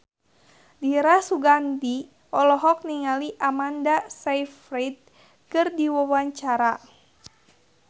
Dira Sugandi olohok ningali Amanda Sayfried keur diwawancara